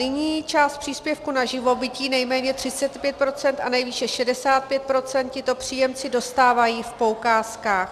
Nyní část příspěvku na živobytí, nejméně 35 % a nejvýše 65 %, tito příjemci dostávají v poukázkách.